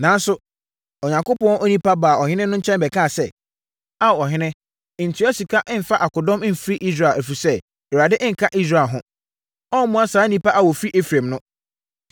Nanso, Onyankopɔn onipa baa ɔhene no nkyɛn bɛkaa sɛ, “Ao ɔhene, ntua sika mfa akodɔm mfiri Israel, ɛfiri sɛ, Awurade nka Israel ho. Ɔremmoa saa nnipa a wɔfiri Efraim no.